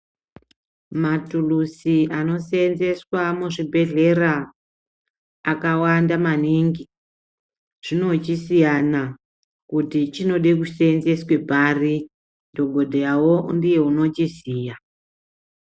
Matuluzi anosenzeswa muzvibhedhlera akawanda maningi zvi ochisiyana kuti chinode kusenzeswe pari dhokodheyawo ndiye unochiziya.